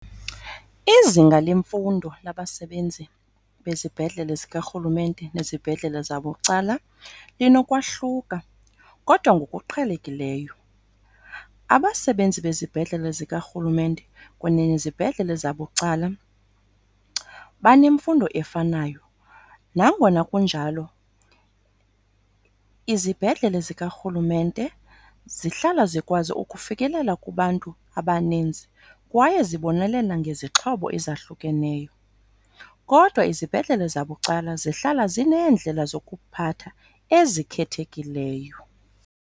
Izinga lemfundo labasebenzi bezibhedlele zikarhulumente nezibhedlele zabucala linokwahluka kodwa ngokuqhelekileyo. Abasebenzi bezibhedlele zikarhulumente kunye nezibhedlele zabucala banemfundo efanayo. Nangona kunjalo izibhedlele zikarhulumenete zihlala zikwazi ukufikelela kubantu abaninzi kwaye zibonelela ngezixhobo ezahlukeneyo, kodwa izibhedlele zabucala zihlala zineendlela zokuphatha ezikhethekileyo.